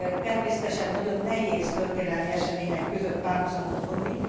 Természetesen nagyon nehéz történelmi események között párhuzamot vonni.